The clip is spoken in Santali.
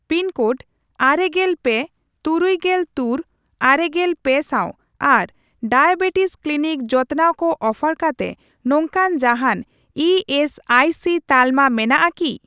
ᱯᱤᱱ ᱠᱳᱰ ᱟᱨᱮᱜᱮᱞ ᱯᱮ, ᱛᱩᱨᱩᱜᱮᱞ ᱛᱩᱨ, ᱟᱨᱮᱜᱮᱞ ᱯᱮ ᱥᱟᱣ ᱟᱨ ᱰᱟᱭᱟᱵᱮᱴᱤᱥ ᱠᱞᱤᱱᱤᱠ ᱡᱚᱛᱱᱟᱣ ᱠᱚ ᱚᱯᱷᱟᱨ ᱠᱟᱛᱮ ᱱᱚᱝᱠᱟᱱ ᱡᱟᱦᱟᱱ ᱤ ᱮᱥ ᱟᱭ ᱥᱤ ᱛᱟᱞᱢᱟ ᱢᱮᱱᱟᱜᱼᱟ ᱠᱤ ?